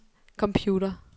computer